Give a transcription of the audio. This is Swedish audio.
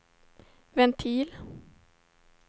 ventil